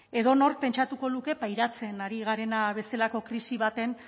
edonork pentsatuko luke pairatzen ari garena bezalako krisi